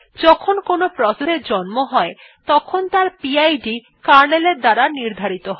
যখন কোনো প্রসেস এর জন্ম হয় তখন তার পিড কার্নেলের দ্বারা নির্ধারিত হয়